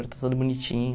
está tudo bonitinho.